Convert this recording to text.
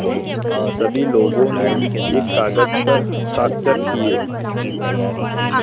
सभी लोगों ने एक कागज़ पर हस्ताक्षर किए